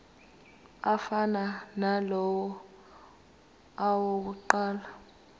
afana nalawo awokuqala